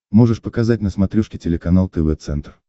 можешь показать на смотрешке телеканал тв центр